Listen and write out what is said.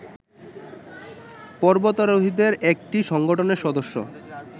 পর্বতারোহীদের একটি সংগঠনের সদস্য